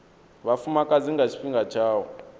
vhafumakadzi nga tshifhinga tsha u